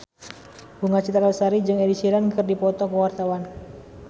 Bunga Citra Lestari jeung Ed Sheeran keur dipoto ku wartawan